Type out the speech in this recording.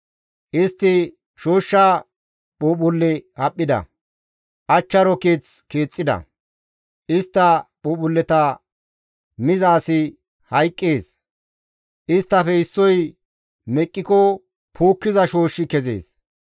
Istti shooshsha phuuphphulle haphphida; achcharo keeth keexxida; istta phuuphphulleta miza asi hayqqees; isttafe issoy meqqiko puukkiza shooshshi kezees.